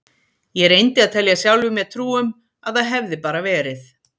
Ég reyndi að telja sjálfum mér trú um að það hefði bara verið